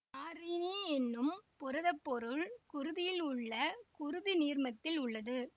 நாரீனி என்னும் புரதப்பொருள் குருதியில் உள்ள குருதி நீர்மத்தில் உள்ளது